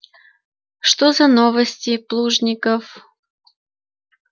что за новости плужников